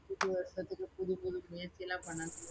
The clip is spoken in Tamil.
புது வருசத்துக்கு புதுப்புது முயற்சியெல்லாம் பண்ணனும்.